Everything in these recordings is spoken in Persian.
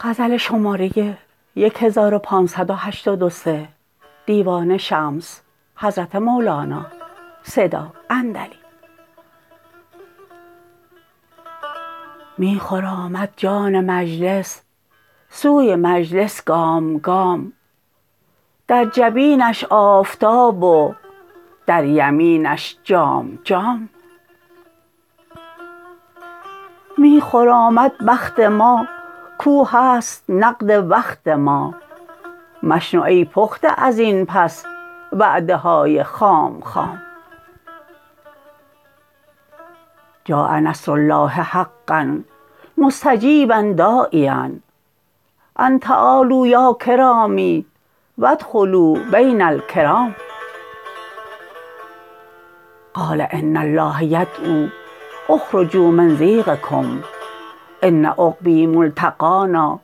می خرامد جان مجلس سوی مجلس گام گام در جبینش آفتاب و در یمینش جام جام می خرامد بخت ما کو هست نقد وقت ما مشنو ای پخته از این پس وعده های خام خام جاء نصر الله حقا مستجیبا داعیا ان تعالوا یا کرامی و ادخلوا بین الکرام قال ان الله یدعوا اخرجوا من ضیقکم ان عقبا ملتقانا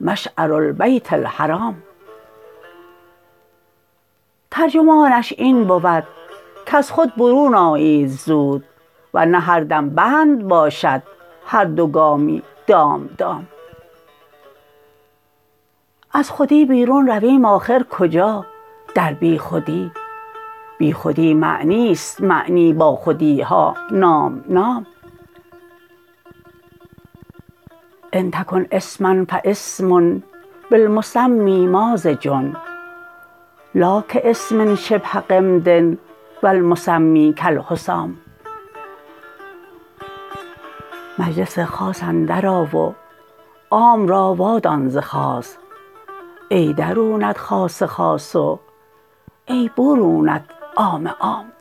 مشعر البیت الحرام ترجمانش این بود کز خود برون آیید زود ور نه هر دم بند باشد هر دو گامی دام دام از خودی بیرون رویم آخر کجا در بیخودی بیخودی معنی است معنی باخودی ها نام نام ان تکن اسما فاسم بالمسمی مازج لا کاسم شبه غمد و المسمی کالحسام مجلس خاص اندرآ و عام را وادان ز خاص ای درونت خاص خاص و ای برونت عام عام